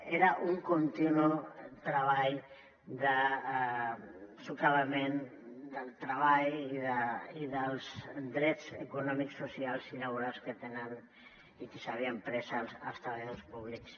era un continu treball de soscavament del treball i dels drets econòmics socials i laborals que tenen i que s’havien pres als treballadors públics